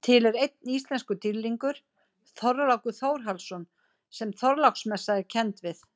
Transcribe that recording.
Til er einn íslenskur dýrlingur, Þorlákur Þórhallsson sem Þorláksmessa er kennd við.